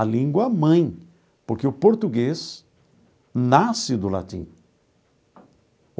a língua mãe, porque o português nasce do latim.